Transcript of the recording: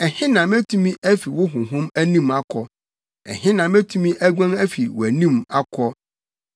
Ɛhe na metumi afi wo honhom anim akɔ? Ɛhe na metumi aguan afi wʼanim akɔ?